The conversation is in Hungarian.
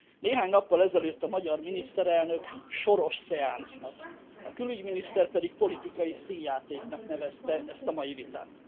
Néhány nappal ezelőtt a magyar miniszterelnök Soros szeánsznak, a külügyminiszter pedig politikai színjátéknak nevezte ezt a mai vitát.